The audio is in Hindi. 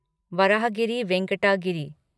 वराहगिरि वेंकट गिरी